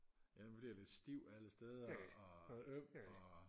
ja man bliver lidt stiv alle steder og